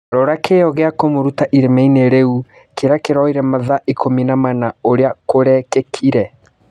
Rora kĩo gĩa kũmũruta irimainĩ rĩu kĩrĩa kĩroire mathaa ikũmi na mana ũrĩa kũrekĩkire.